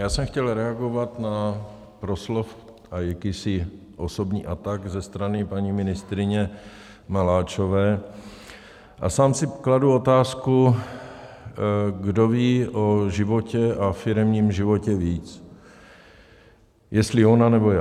Já jsem chtěl reagovat na proslov a jakýsi osobní atak ze strany paní ministryně Maláčové a sám si kladu otázku, kdo ví o životě a firemním životě víc, jestli ona, nebo já.